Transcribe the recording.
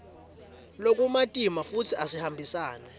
lokumatima futsi asihambisani